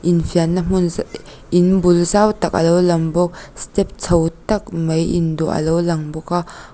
infiamna hmun in bul zau tak alo lang bawk step chho tak mai indawh alo lang bawk a--